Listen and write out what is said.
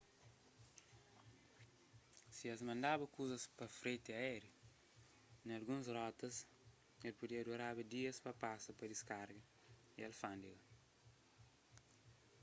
si es mandaba kuzas pa freti aériu na alguns rotas el podeba duraba dias pa pasa pa diskarga y alfándega